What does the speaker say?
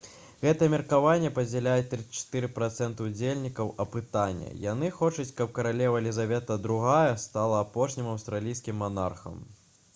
гэтае меркаванне падзяляюць 34 працэнты ўдзельнікаў апытання яны хочуць каб каралева лізавета ii стала апошнім аўстралійскім манархам